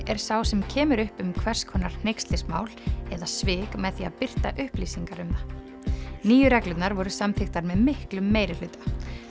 er sá sem kemur upp um hvers konar hneykslismál eða svik með því að birta upplýsingar um það nýju reglurnar voru samþykktar með miklum meirihluta